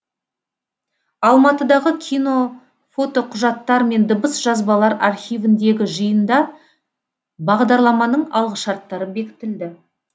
алматыдағы кино фотоқұжаттар мен дыбыс жазбалар архивіндегі жиында бағдарламаның алғышарттары бекітілді